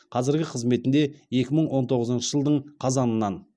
қазіргі қызметінде екі мың он тоғызыншы жылдың қазанынан